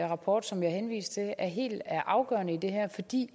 rapport som jeg henviste til er helt afgørende i det her fordi